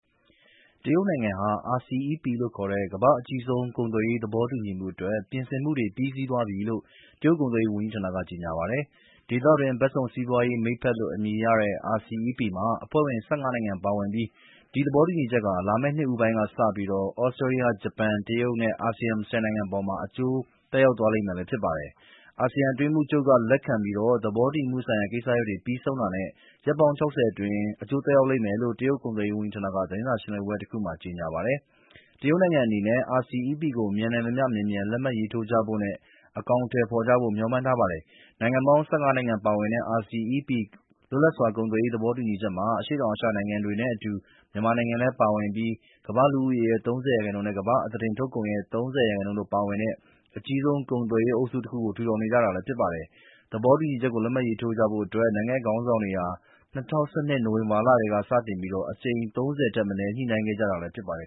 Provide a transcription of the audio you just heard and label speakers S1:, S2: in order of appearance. S1: တရုတ်နိုင်ငံဟာ RCEP လို့ခေါ်တဲ့ ကမ္ဘာ့အကြီးဆုံး ကုန်သွယ်ရေး သဘောတူညီမှုအတွက် ပြင်ဆင်မှုတွေ ပြီးစီးသွားပြီးလို့ တရုတ်ကုန်သွယ်ရေး ဝန်ကြီးဌာနက ကြေညာပါတယ်။ ဒေသတွင်း အလုံးစုံ စီးပွားရေးမိတ်ဘက်လို့ အမည်ရတဲ့ RCEP မှာ အဖွဲ့ဝင် ၁၅ နိုင်ငံ ပါဝင်ပြီး ဒီသဘောတူညီချက်ဟာ လာမယ့်နှစ်ဦးပိုင်းကစပြီး သြစတြေးလျ၊ ဂျပန်၊ တရုတ်နဲ့ အာဆီယံ ၁၀ နိုင်ငံအပေါ် အကျိုးသက်ရောက်သွားမှာလည်း ဖြစ်ပါတယ်။ အာဆီယံ အတွင်းရေးမှူးချုပ်က လက်ခံပြီး သဘောတူညီမှုဆိုင်ရာ ကိစ္စတွေ ပြီးဆုံးတာနဲ့ ရက်ပေါင်း ၆၀ အတွင်း အကျိုးသက်ရောက်လိမ့်မယ်လို့ တရုတ် ကုန်သွယ်ရေးဝန်ကြီးဌာနက သတင်းစာရှင်းလင်းပွဲတခုမှာ ကြေညာပါတယ်။ တရုတ်နိုင်ငံကတော့ RCEP ကို မြန်နိုင်သမျှမြန်မြန် လက်မှတ်ရေးထိုးကြဖို့နဲ့ အကောင်အထည်ဖော်ဖို့ မျှော်မှန်းထားပါတယ်။ နိုင်ငံပေါင်း ၁၅ နိုင်ငံပါဝင်တဲ့ RCEP လွတ်လပ်စွာ ကုန်သွယ်ရေး သဘောတူညီချက်မှာ အရှေ့တောင်အာရှနိုင်ငံတွေနဲ့အတူ မြန်မာနိုင်ငံလည်း ပါဝင်ပြီး ကမ္ဘာ့လူဦးရေရဲ့ ၃၀ ရာခိုင်နှုန်းနဲ့ ကမ္ဘာ့အသားတင်ထုတ်ကုန်ရဲ့ ၃၀ ရာခိုင်နှုန်းတို့ ပါဝင်တဲ့ အကြီးဆုံး ကုန်သွယ်ရေးအုပ်စုတခုကို ထူထောင်နေတာလည်း ဖြစ်ပါတယ်။ သဘောတူညီချက်ကို လက်မှတ်ရေးထိုးဖို့အတွက် နိုင်ငံ့ခေါင်းဆောင်တွေဟာ ၂၀၁၂ နိုဝင်ဘာကတည်းက စတင်ပြီး အကြိမ် ၃၀ ထက်မ
S2: နည်း ညှိနှိုင်းခဲ့ကြတာလည်း ဖြစ်ပါတယ်